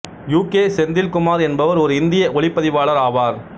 you K Senthil Kumar என்பவர் ஒரு இந்திய ஒளிப்பதிவாளர் ஆவார்